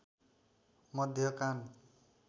मध्य कान